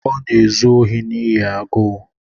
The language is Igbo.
Ọ na-ezu ohi n’ihi agụụ.